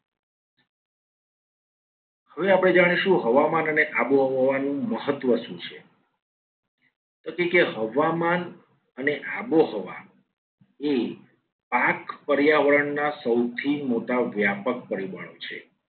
હવે આપણે જાણીશું હવામાન અને આબોહવાનું મહત્વ શું છે. તેથી કે હવામાન અને આબોહવા એ આઠ પર્યાવરણના સૌથી મોટા વ્યાપક પરિબળો છે.